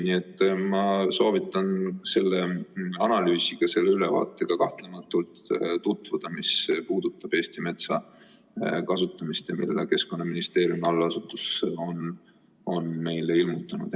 Nii et ma soovitan tutvuda selle analüüsiga, selle ülevaatega, mis puudutab Eesti metsa kasutamist, mille Keskkonnaministeeriumi allasutus on meile ilmutanud.